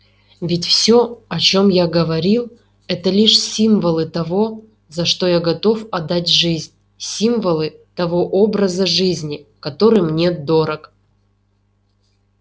ведь всё о чем я говорил это лишь символы того за что я готов отдать жизнь символы того образа жизни который мне дорог